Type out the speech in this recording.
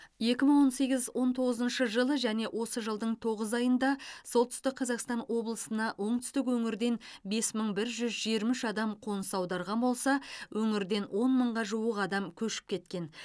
екі мың он сегіз он тоғызыншы жылы және осы жылдың тоғыз айында солтүстік қазақстан облысына оңтүстік өңірден бес мың бір жүз жиырма үш адам қоныс аударған болса өңірден он мыңға жуык адам көшіп кеткен